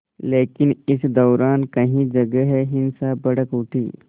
लेकिन इस दौरान कई जगह हिंसा भड़क उठी